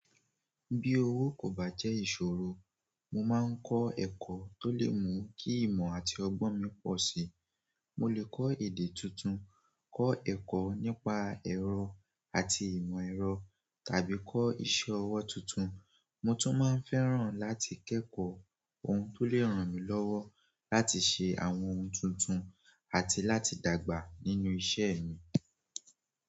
Bí owó kò bá jẹ́ ìṣòro, mo máa ń kọ́ ẹ̀kọ́ tó lè mú kí ìmọ̀ àti ọgbọ́n mi pọ̀ sí. Mo lè kọ́ èdè tuntun, kọ́ ẹ̀kọ́ nípa ẹ̀rọ àti ìmọ̀ ẹ̀rọ tàbí kọ́ iṣẹ́ ọwọ́ tuntun. Mo tún máa ń fẹ́ràn láti kẹ́kọ̀ọ́ ohun tó lè ràn mí lọ́wọ́ láti ṣe àwọn ohun tuntun àti láti dàgbà nínú iṣẹ́ mi.